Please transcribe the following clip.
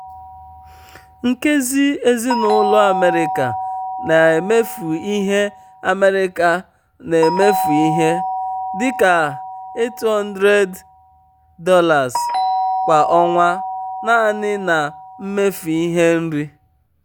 nkezi ezinụlọ america na-emefu ihe america na-emefu ihe um dị ka $800 kwa ọnwa naanị na mmefu ihe nri.